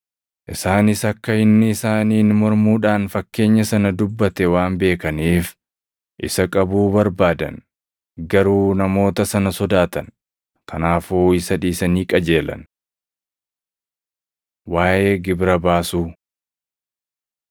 Isaanis akka inni isaaniin mormuudhaan fakkeenya sana dubbate waan beekaniif isa qabuu barbaadan. Garuu namoota sana sodaatan; kanaafuu isa dhiisanii qajeelan. Waaʼee Gibira Baasuu 12:13‑17 kwf – Mat 22:15‑22; Luq 20:20‑26